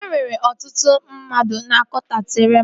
E nwere ọtụtụ ndị mmadụ na kọnsaati Reema